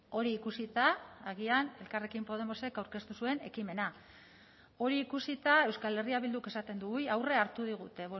hori ikusita agian elkarrekin podemosek aurkeztu zuen ekimena hori ikusita euskal herria bilduk esaten du ui aurrea hartu digute